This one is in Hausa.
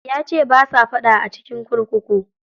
Yace basa faɗa a cikin kurkuku.